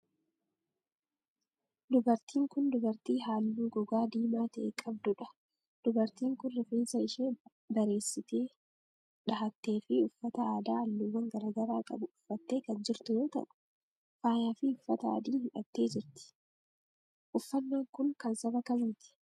Dubartiin kun dubartii haalluu gogaa diimaa ta'e qabduu dha. Dubartiin kun, rifeensa ishee bareessitee dhahattee fi uffata aadaa haalluuwwan garaa garaa qabu uffattee kan jirtu yoo ta'u, faayaa fi uffata adiis hidhattee jirti. Uffannaan kun, kan saba kamiiti?